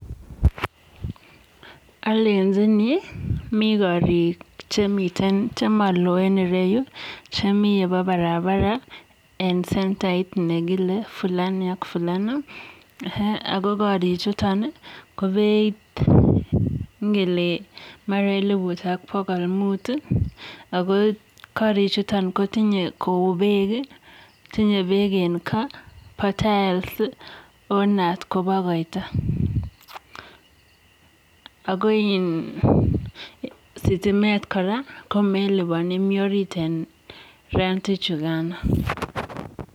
alenjini mii karik chemaloen eng nyuu ako miteii yugok ako mara ko beit ko eliput ak pokol muut ako kararen ako sitimetvmelipani mitei orit ap rent ichukaaan